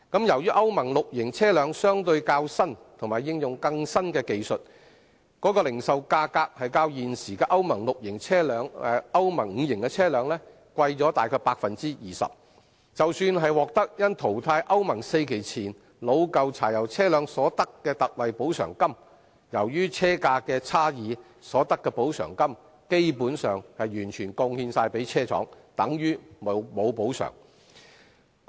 由於歐盟 VI 期車輛相對較新及應用更新的技術，零售價格較現時歐盟 V 期車輛昂貴大約 20%， 即使獲得因淘汰歐盟 IV 期前的老舊柴油車輛所得的特惠補償金，由於車價的差異，所得的補償金基本上完全貢獻給車廠，等於沒有補償。